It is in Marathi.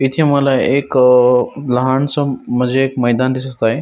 इथे मला एक लहान स म्हणजे मैदान दिसत आहे.